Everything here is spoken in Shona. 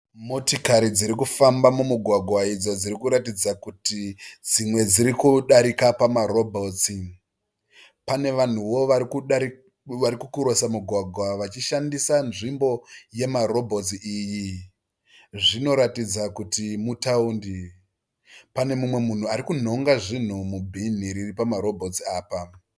Motikari dzirikufamba mumugwagwa idzo dziri kuratidza kuti dzimwe dziri kudarika pamarobhotsi. Pane vanhuo vari kukurosa mugwagwa vachishandisa nzvimbo yemarobhotsi iyi. Zvinoratidza kuti mutaundi. Pane mumwe munhu arikunhonga zvinhu mubhíni riri pamarobhotsi apa.